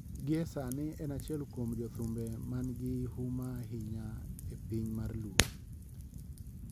Gi esani en achiel kuom jothumbe man gi huma ahinya e piny mar luo.